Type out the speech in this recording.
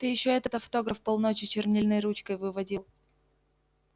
ты ещё этот автограф полночи чернильной ручкой выводил